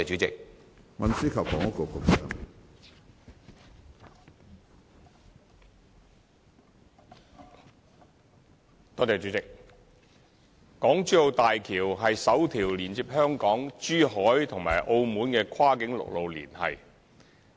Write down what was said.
港珠澳大橋是首條連接香港、珠海和澳門的跨境陸路連繫。